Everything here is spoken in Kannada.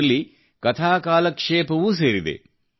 ಇದರಲ್ಲಿ ಕಥಾಕಾಲಕ್ಷೇಪವೂ ಸೇರಿದೆ